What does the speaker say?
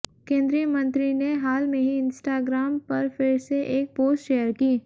केंद्रीय मंत्री ने हाल में ही इंस्टाग्राम पर फिर से एक पोस्ट शेयर की